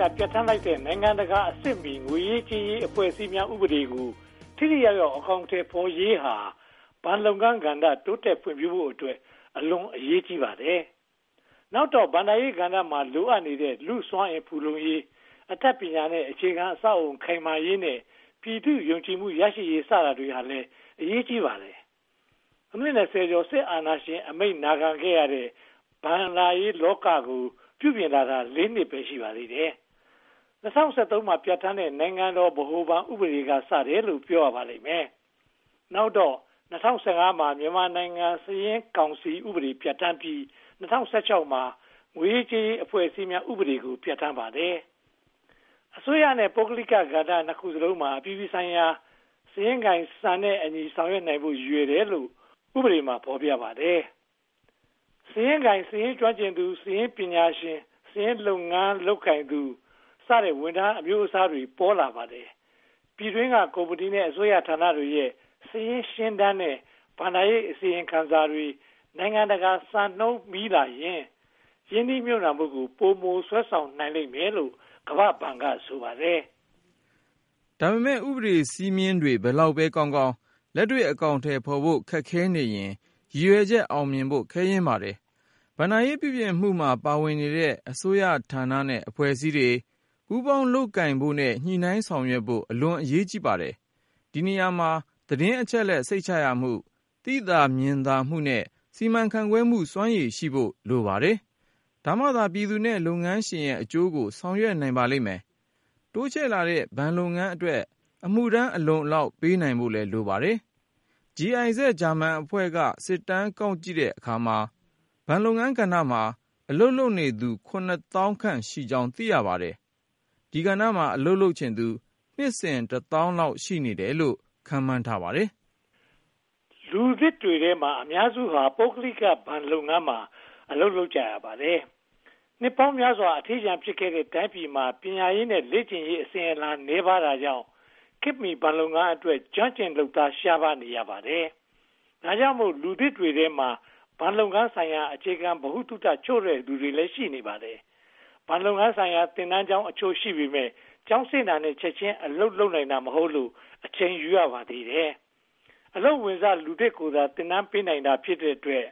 က ပြဌာန်းလိုက်တဲ့ နိုင်ငံတကာအဆင့်မီ ငွေရေးကြေးရေး အဖွဲ့အစည်းများ ဥပဒေကို ထိထိရောက်ရောက် အကောင်အထည်ဖော်ရေးဟာ ဘဏ်လုပ်ငန်းကဏ္ဍ တိုးတက်ဖွံ့ဖြိုးဖို့အတွက် အလွန်အရေးကြီးပါတယ်။ နောက်တော့ ဘဏ္ဍာရေးကဏ္ဍမှာ လိုအပ်နေတဲ့ လူ့စွမ်းအင်ဖူလုံရေး၊ အတတ်ပညာနဲ့ အခြေခံအဆောက်အအုံ ခိုင်မာရေးနဲ့ ပြည်သူ့ယုံကြည်မှုရရှိရေး စတာတွေဟာလည်း အရေးကြီးပါတယ်။ အနှစ် (၂၀) ကျော် စစ်အာဏာရှင်အမိန့် နာခံခဲ့ရတဲ့ ဘဏ္ဍာရေးလောကကို ပြုပြင်လာတာ (၄) နှစ်ပဲ ရှိပါသေးတယ်။ ၂၀၁၃ မှာ ပြဌာန်းတဲ့ နိုင်ငံတော် ဗဟိုဘဏ်ဥပဒေက စတယ်လို့ ပြောရပါလိမ့်မယ်။ နောက်တော့ ၂၀၁၅ မှာ မြန်မာနိုင်ငံစာရင်းကောင်စီဥပဒေ ပြဌာန်းပြီး ၂၀၁၆ မှာ ငွေရေးကြေးရေး အဖွဲ့အစည်းများ ဥပဒေကို ပြဌာန်းပါတယ်။ အစိုးရနဲ့ ပုဂ္ဂလိက ကဏ္ဍနှစ်ခုစလုံးမှာ အပြည်ပြည်ဆိုင်ရာ စာရင်းကိုင်စံ၊ စာရင်းစစ်စံနဲ့အညီ ဆောင်ရွက်နိုင်ဖို့ ရည်ရွယ်တယ်လို့ ဥပဒေမှာ ဖော်ပြပါတယ်။ စာရင်းကိုင်၊ စာရင်းကျွမ်းကျင်သူ၊ စာရင်းပညာရှင်၊ စာရင်းလုပ်ငန်းလုပ်ကိုင်သူ စတဲ့ ဝန်ထမ်းအမျိုးအစားတွေ ပေါ်လာပါတယ်။ ပြည်တွင်းက ကုမ္ပဏီနဲ့ အစိုးရဌာနတွေရဲ့ စာရင်းရှင်းတမ်းနဲ့ ဘဏ္ဍာရေးအစီရင်ခံစာတွေ နိုင်ငံတကာစံနှုန်းမီလာရင် ရင်းနှီးမြုပ်နံှမှုကို ပိုမိုဆွဲဆောင်နိုင်မယ်လို့ ကမ္ဘာ့ဘဏ်က ဆိုပါတယ်။ ဒါပေမဲ့ ဥပဒေ စည်းမျဉ်းတွေ ဘယ်လောက်ပဲကောင်းကောင်း လက်တွေ့အကောင်အထည်ဖော်ဖို့ ခက်ခဲနေရင် ရည်ရွယ်ချက် အောင်မြင်ဖို့ ခဲယဉ်းပါတယ်။ ဘဏ္ဍာရေး ပြုပြင်မှုမှာ ပါဝင်နေတဲ့ အစိုးရဌာနနဲ့ အဖွဲ့အစည်းတွေ ပူးပေါင်းလုပ်ကိုင်နိုင်ဖို့နဲ့ ညှိနှိုင်းဆောင်ရွက်နိုင်ဖို့ အလွန်အရေးကြီးပါတယ်။ ဒီနေရာမှာ သတင်းအချက်အလက် စိတ်ချရမှု၊ သိသာမြင်သာမှုနဲ့ စီမံခန့်ခွဲမှု စွမ်းရည်ရှိဖို့ လိုပါတယ်။ ဒါမှသာ ပြည်သူနဲ့ လုပ်ငန်းရှင်ရဲ့အကျိုးကို ဆောင်ရွက်နိုင်ပါလိမ့်မယ်။ တိုးချဲ့လာတဲ့ ဘဏ်လုပ်ငန်းအတွက် အမှုထမ်း အလုံအလောက်ပေးနိုင်ဖို့ လိုပါတယ်။ GIZ ဂျာမန်အဖွဲ့က စစ်တမ်းကောက်ကြည့်တဲ့အခါမှာ ဘဏ်လုပ်ငန်းကဏ္ဍမှာ အလုပ်လုပ်နေသူ (၇၀,၀၀၀) ခန့်ရှိကြောင်း သိရပါတယ်။ ဒီကဏ္ဍမှာ အလုပ်လုပ်ချင်သူ နှစ်စဉ်တသောင်းလောက် ရှိနေတယ်လို့ ခန့်မှန်းထားပါတယ်။ လူသစ်တွေထဲမှာ အများစုဟာ ပုဂ္ဂလိကဘဏ်လုပ်ငန်းမှာ အလုပ်ရကြပါတယ်။ နှစ်ပေါင်းများစွာ အထီးကျန်ဖြစ်ခဲ့တဲ့ တိုင်းပြည်မှာ ပညာရေးနဲ့ လေ့ကျင့်ရေးအစဉ်အလာ နည်းပါးတာကြောင့် ခေတ်မီဘဏ်လုပ်ငန်းအတွက် ကျွမ်းကျင်လုပ်သား ရှားပါးနေရပါတယ်။ ဒါကြောင့်မို့ လူသစ်တွေထဲမှာ ဘဏ်လုပ်ငန်းဆိုင်ရာ အခြေခံဗဟုသုတ ချို့တဲ့သူတွေလည်း ရှိပါတယ်။ ဘဏ်လုပ်ငန်းဆိုင်ရာ သင်တန်းကျောင်းအချို့ ရှိပေမယ့် ကျောင်းဆင်းတာနဲ့ ချက်ချင်းအလုပ်လုပ်နိုင်တာ မဟုတ်လို့ အချိန်ယူရပါသေးတယ်။ အလုပ်ဝင်စ လူသစ်ကိုသာ သင်တန်းပေးနိုင်တာ ဖြစ်တဲ့အတွက်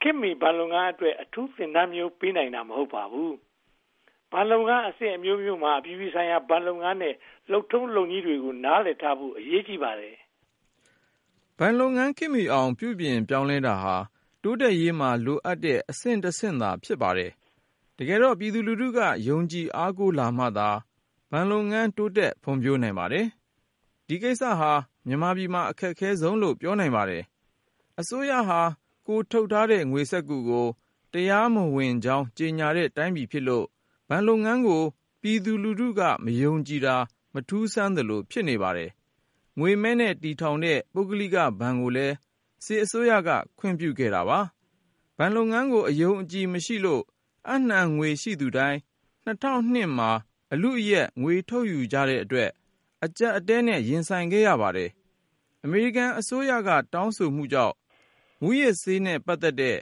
ခေတ်မီဘဏ်လုပ်ငန်းအတွက် အထူးသင်တန်းမျိုး ပေးနိုင်တာ မဟုတ်ပါဘူး။ ဘဏ်လုပ်ငန်းအဆင့်အမျိုးမျိုးမှာ အပြည်ပြည်ဆိုင်ရာ ဘဏ်လုပ်ငန်းရဲ့ လုပ်ထုံးလုပ်နည်းတွေကို နားလည်ထားဖို့လည်း အရေးကြီးပါတယ်။ ဘဏ်လုပ်ငန်းခေတ်မီအောင် ပြုပြင်ပြောင်းလဲတာဟာ တိုးတက်ရေးမှာ လိုအပ်တဲ့အဆင့်တဆင့်သာ ဖြစ်ပါတယ်။ တကယ်တော့ ပြည်သူလူထုက ယုံကြည်အားကိုးလာမှသာ ဘဏ်လုပ်ငန်း တိုးတက်ဖွံ့ဖြိုးနိုင်ပါတယ်။ ဒီကိစ္စဟာ မြန်မာပြည်မှာ အခက်ခဲဆုံးလို့ ပြောနိုင်ပါတယ်။ အစိုးရဟာ ကိုယ်ထုတ်ထားတဲ့ ငွေစက္ကူကို တရားမဝင်ကြောင်း ကြေညာတဲ့တိုင်းပြည်ဖြစ်လို့ ဘဏ်လုပ်ငန်းကို ပြည်သူက မယုံကြည်တာ မထူးဆန်းသလို ဖြစ်နေပါတယ်။ ငွေမဲနဲ့ တည်ထောင်တဲ့ ပုဂ္ဂလိကဘဏ်ကိုလည်း စစ်အစိုးရက ခွင့်ပြုပါတယ်။ ဘဏ်လုပ်ငန်းကို အယုံအကြည်မရှိလို့ အပ်နံှငွေရှိသူတိုင်း ၂၀၀၂ မှာ အလုအယက် ငွေထုတ်ယူကြတဲ့အတွက် အကျပ်အတည်းနဲ့ ရင်ဆိုင်ရပါတယ်။ အမေရိကန်အစိုးရ တောင်းဆိုမှုကြောင့် မူးယစ်ဆေးနဲ့ ပတ်သက်တဲ့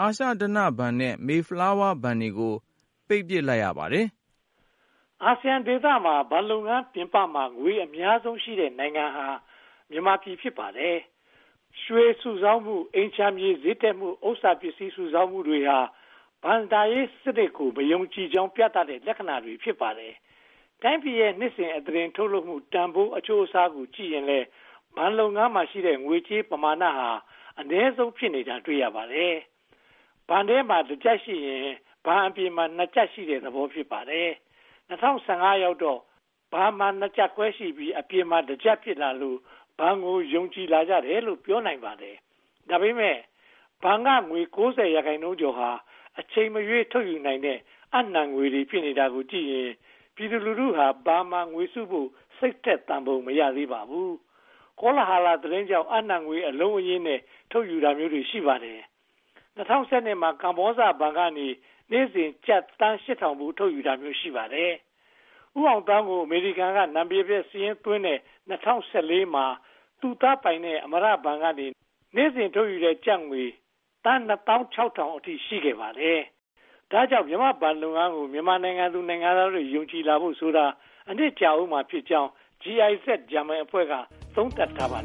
အာရှဓနဘဏ်နဲ့ Mayflower ဘဏ်တွေကို ပိတ်လိုက်ရပါတယ်။ အာဆီယံဒေသမှာ ဘဏ်လုပ်ငန်းပြင်ပမှာ ငွေအများဆုံးရှိတဲ့နိုင်ငံဟာ မြန်မာပြည် ဖြစ်ပါတယ်။ ရွှေစုဆောင်းမှု၊ အိမ်ခြံမြေ ဈေးတက်မှု၊ ဥစ္စာပစ္စည်း စုဆောင်မှုတွေဟာ ဘဏ္ဍာရေးစနစ်ကို မယုံကြည်ကြောင်း ပြသတဲ့လက္ခဏာတွေ ဖြစ်ပါတယ်။ တိုင်းပြည်ရဲ့ နှစ်စဉ်အသားတင် ထုတ်လုပ်မှုတန်းဖိုး အချိုးအစားနဲ့ ကြည့်ရင်လည်း ဘဏ်လုပ်ငန်းမှာရှိတဲ့ ငွေကြေးပမာဏဟာ အနည်းဆုံး ဖြစ်နေတာကို တွေ့ရပါတယ်။ ဘဏ်ထဲမှာ တကျပ်ရှိရင် ဘဏ်အပြင်မှာ နှစ်ကျပ်ရှိတဲ့သဘော ဖြစ်ပါတယ်။ ၂၀၁၅ ရောက်တော့ ဘဏ်မှာ နှစ်ကျပ်ခွဲရှိပြီး အပြင်မှာ တကျပ် ဖြစ်လာလို့ ဘဏ်ကို ယုံကြည်လာကြတယ်လို့ ပြောနိုင်ပါတယ်။ ဒါပေမဲ့ ဘဏ်က ငွေ (၉၀) ရာခိုင်နှုန်းကျော်ဟာ အချိန်မရွေး ထုတ်ယူနိုင်တဲ့ အပ်နံှငွေတွေ ဖြစ်နေတာကြည့်ရင် ပြည်သူလူထုဟာ ဘဏ်မှာ ငွေစုဖို့ စိတ်ထက်သန်ပုံ မရသေးပါဘူး။ ကောလဟာလ သတင်းတွေကြောင့် အပ်နံှငွေ အလုံးအရင်းနဲ့ ထုတ်ယူတာမျိုးတွေ ရှိပါတယ်။ ဦးအောင်သောင်းကို အမေရိကန်မှာ နာမည်ပျက်စာရင်းသွင်းတဲ့ ၂၀၁၄ မှာ သူ့သားပိုင်တဲ့ အမရဘဏ်ကနေ နေ့စဉ်ထုတ်တဲ့ကျပ်ငွေ သန်းနှစ်သောင်းခြောက်ထောင်အထိ ရှိခဲ့ပါတယ်။ ဒါကြောင့် မြန်မာ့ဘဏ်လုပ်ငန်းကို မြန်မာနိုင်ငံသူ နိုင်ငံသားတွေ ယုံကြည်လာဖို့ဆိုတာ အချိန်ကြာဦးမှာ ဖြစ်ကြောင်း GIZ ဂျာမန်အဖွဲ့က သုံးသပ်ထားပါတယ်